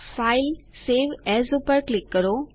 file save as પર click કરો